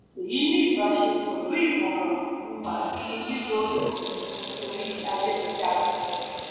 èyí ní ìbá ṣe pẹlú ìmọràn um àti lílo ìkànnì um orí ayélujára